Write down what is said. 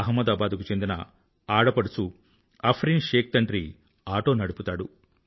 అహ్మదాబాద్ కు చెందిన ఆడపడుచు అఫ్రీన్ షేక్ తండ్రి ఆటో నడుపుతాడు